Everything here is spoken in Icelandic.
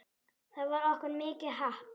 Það var okkur mikið happ.